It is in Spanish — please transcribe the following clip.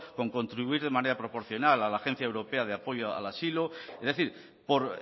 con contribuir de manera proporcional a la agencia europea de apoyo al asilo es decir por